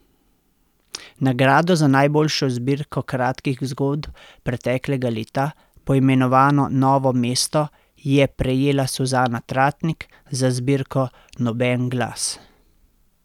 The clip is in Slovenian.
Nagrado za najboljšo zbirko kratkih zgodb preteklega leta, poimenovano novo mesto, je prejela Suzana Tratnik za zbirko Noben glas.